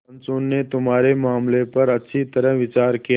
पंचों ने तुम्हारे मामले पर अच्छी तरह विचार किया